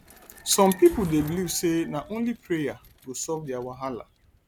some pipo dey believe say na only prayer go solve their wahala